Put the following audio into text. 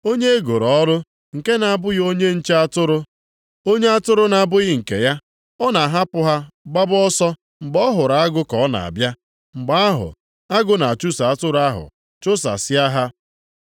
Onye e goro ọrụ, nke na-abụghị onye nche atụrụ, onye atụrụ na-abụghị nke ya, ọ na-ahapụ ha gbaa ọsọ mgbe ọ hụrụ agụ ka ọ na-abịa; mgbe ahụ agụ na-achụso atụrụ ahụ chụsasịa ha.